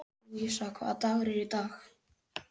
Lúísa, hvaða dagur er í dag?